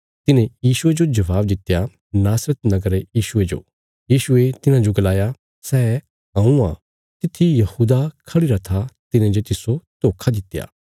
तिन्हें यीशुये जो जवाब दित्या नासरत नगरा रे यीशुये जो यीशुये तिन्हांजो गलाया सै हऊँ आ तित्थी यहूदा खढ़िरा था तिने जे तिस्सो धोखा दित्या